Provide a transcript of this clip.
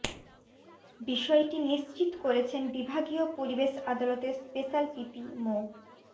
বিষয়টি নিশ্চিত করেছেন বিভাগীয় পরিবেশ আদালতের স্পেশাল পিপি মো